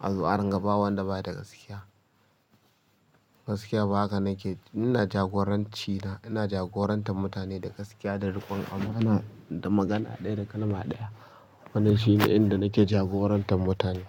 A zo a ringa ba wanda ba da gaskiya. Gaskiya ba haka nake, ina jagoranci na, ina jagorantar mutane da gaskiya da riƙon amana da magana ɗaya da kalma ɗaya. Wannan shine inda nike jagorantar mutane.